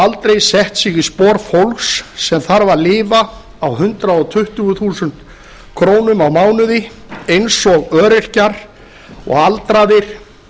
aldrei sett sig í spor fólks sem þarf að lifa á hundrað tuttugu þúsund krónur á mánuði eins og öryrkjar og aldraðir